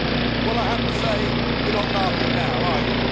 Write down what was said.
Well I have to say, you're not laughing now, are you?